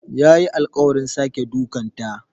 Yayi alƙawarin sake dukanta.